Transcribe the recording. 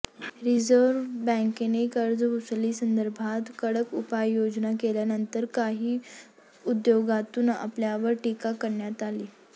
reserve बॅंकेने कर्जवसुली संदर्भात कडक उपाययोजना केल्यानंतर काही उद्योगातून आपल्यावर टीका करण्यात आली